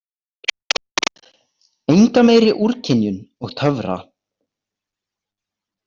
Enga meiri úrkynjun og töfra.